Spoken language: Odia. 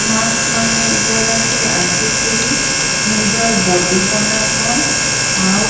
ମାକ୍ସ୍ ମାନେ ଏ ଜାଗା କେ ଆସିକିରି ନିଜର ବଡି ବନସନ୍ ଆଉ --